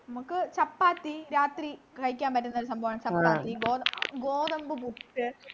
മ്മക്ക് ചപ്പാത്തി രാത്രി കഴിക്കാൻ പറ്റുന്നൊരു സംഭവമാണ് ചപ്പാത്തി ഗോത ഗോതമ്പുപുട്ടു